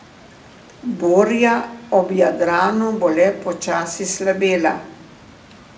Burja ob Jadranu bo le počasi slabela.